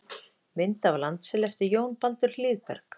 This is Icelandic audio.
Mynd af landsel eftir Jón Baldur Hlíðberg.